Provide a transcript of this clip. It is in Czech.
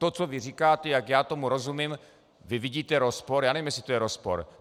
To, co vy říkáte, jak já tomu rozumím, vy vidíte rozpor, já nevím, jestli to je rozpor.